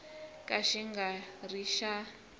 ka xi nga ri xa